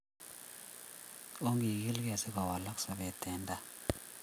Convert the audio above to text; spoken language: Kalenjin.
Ongikil kee sikowalak sapet en taa